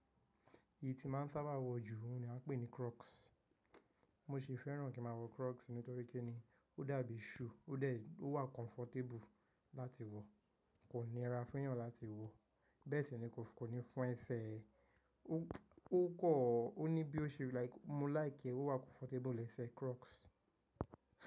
Èyí tí máa ń sábà wọ jù ni a ń pè ní Crocs. Mo ṣe fẹ́ràn kí má wọ Crocs nítorí kí ni ó dàbí shoe, ó wà comfortable láti wọ, kò níra fún'yàn láti wọ, bẹ́ẹ̀ sì ni kò ní fún ẹsẹ̀ ẹ. Ó kọ́, ó ní bí o ṣe like, mo láìki e, ó wà comfortable lẹ́sẹ̀ Crocs.